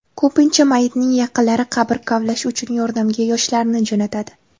Ko‘pincha mayitning yaqinlari qabr kavlash uchun yordamga yoshlarni jo‘natadi.